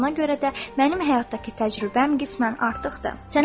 Buna görə də mənim həyatdakı təcrübəm qismən artıqdır.